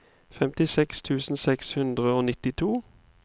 femtiseks tusen seks hundre og nittito